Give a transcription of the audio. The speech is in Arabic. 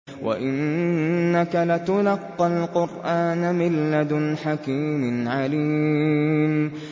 وَإِنَّكَ لَتُلَقَّى الْقُرْآنَ مِن لَّدُنْ حَكِيمٍ عَلِيمٍ